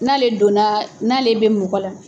N'ale donna, n'ale bɛ mɔgɔ la